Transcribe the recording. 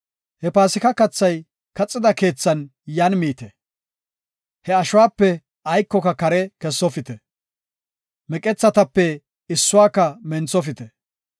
“He Paasika kathay kaxida keethan yan miite. He ashuwape aykoka kare kessofite. Meqethatape issuwaka menthofite.